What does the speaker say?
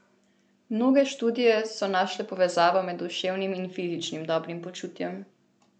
Mnoge študije so našle povezavo med duševnim in fizičnim dobrim počutjem.